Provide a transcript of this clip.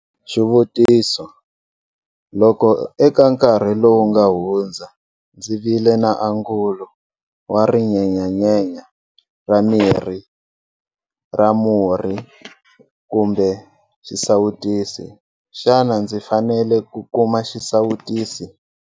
Xivutiso- Loko eka nkarhi lowu nga hundza ndzi vile na angulo wa rinyenyanyenya ra miri ra murhi kumbe xisawutisi, xana ndzi fanele ku kuma xisawutisi?